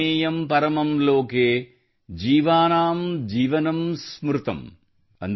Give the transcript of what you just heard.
ಪಾನಿಯಂ ಪರಮಂ ಲೋಕೇ ಜೀವಾನಾಂ ಜೀವನಂ ಸ್ಮೃತಮ್||